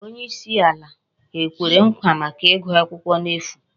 Onye isi ala ekwere nkwa maka igu akwukwo n'efu?